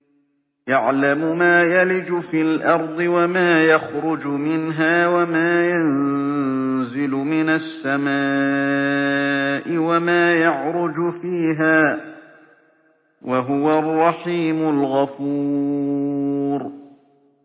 يَعْلَمُ مَا يَلِجُ فِي الْأَرْضِ وَمَا يَخْرُجُ مِنْهَا وَمَا يَنزِلُ مِنَ السَّمَاءِ وَمَا يَعْرُجُ فِيهَا ۚ وَهُوَ الرَّحِيمُ الْغَفُورُ